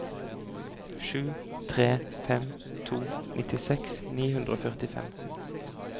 sju tre fem to nittiseks ni hundre og førtifem